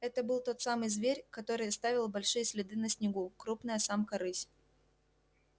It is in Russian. это был тот самый зверь который оставил большие следы на снегу крупная самка рысь